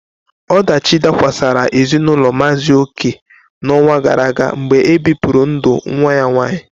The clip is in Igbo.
Ọdachi dakwasara ezinaụlọ Maazi Oke n'ọnwa gara aga mgbe ebipụrụ ndụ nwa ya nwanyị.